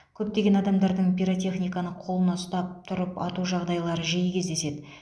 көптеген адамдардың пиротехниканы қолына ұстап тұрып ату жағдайлары жиі кездеседі